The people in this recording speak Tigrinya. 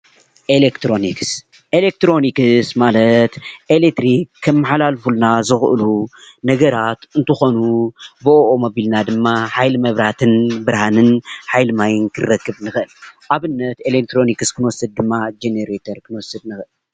ኤሌክትሮኒክስ ኤሌክትሮኒክስ ማለት ኤሌትሪክ ከመሓላልፍሉና ዝክእሉ ነገራት እንትኮኑ ብኦኦም ኣቢልና ድማ ሓይሊ መብራህትን ብርሃንን ሓይሊ ማይን ክንረክብ ንክእል፡፡ ኣብነት ክንወስድ ድማ ጀኔረተር ክንወስድ ንእክል፡፡